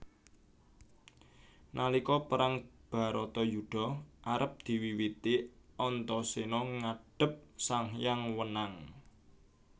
Nalika Perang Baratayudha arep diwiwiti Antaséna ngadhep Sanghyang Wenang